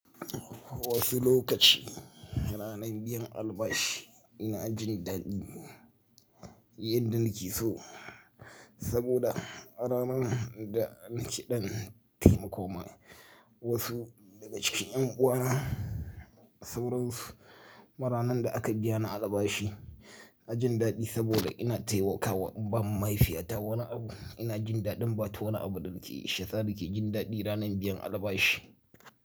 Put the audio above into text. Wasu lokaci ranan biyan albashi ina jin daɗi yadda nake so saboda ranan da nake ɗan taimako ma wasu daga cikin ƴan uwana sauransu kuma ranan da aka biyana albashi inajin daɗi saboda ina taimakawa in bawa mahaifiyata wani abu ina jin daɗin bata wani abu da nake yi shayasa nake jin daɗi ranan biyan albashi.